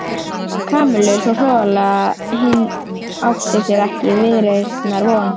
Kamillu svo hroðalega að hinn átti sér ekki viðreisnar von.